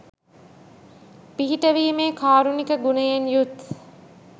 පිහිට වීමේ කාරුණික ගුණයෙන් යුත්